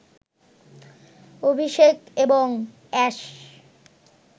অভিষেক এবং অ্যাশ